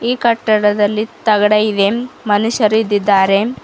ಈ ಕಟ್ಟಡದಲ್ಲಿ ತಗಡ ಇವೆ ಮನುಷ್ಯರು ಇದ್ದಿದ್ದಾರೆ.